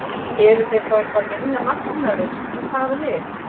Eru þeir þá eitthvað minna magnaðir en það lið?